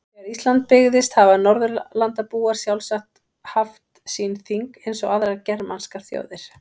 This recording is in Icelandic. Þegar Ísland byggðist hafa Norðurlandabúar sjálfsagt haft sín þing eins og aðrar germanskar þjóðir.